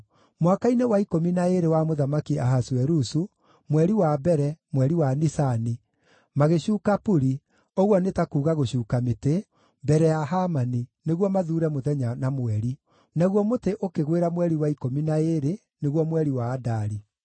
Mwaka-inĩ wa ikũmi na ĩĩrĩ wa Mũthamaki Ahasuerusu, mweri wa mbere, mweri wa Nisani, magĩcuuka puri (ũguo nĩ ta kuuga gũcuuka mĩtĩ) mbere ya Hamani nĩguo mathuure mũthenya na mweri. Naguo mũtĩ ũkĩgwĩra mweri wa ikũmi na ĩĩrĩ, nĩguo mweri wa Adari.